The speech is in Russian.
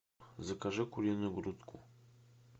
закажи куриную грудку